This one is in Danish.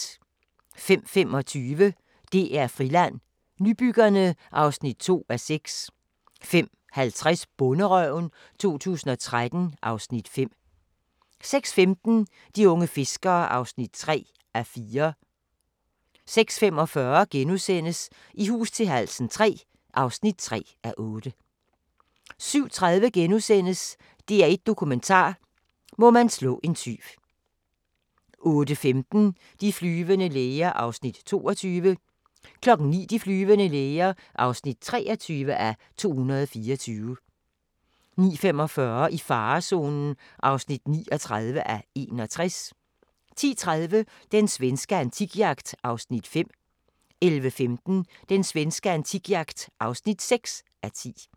05:25: DR Friland: Nybyggerne (2:6) 05:50: Bonderøven 2013 (Afs. 5) 06:15: De unge fiskere (3:4) 06:45: I hus til halsen III (3:8)* 07:30: DR1 Dokumentar: Må man slå en tyv * 08:15: De flyvende læger (22:224) 09:00: De flyvende læger (23:224) 09:45: I farezonen (39:61) 10:30: Den svenske antikjagt (5:10) 11:15: Den svenske antikjagt (6:10)